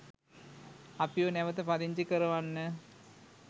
අපිව නැවත පදිංචි කරවන්න